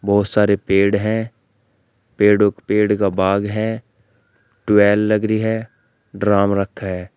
बहुत सारे पेड़ है पेड़ो पेड़ का बाग है ट्वेल लग रही है ड्रम रखा है।